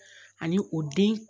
Ani o den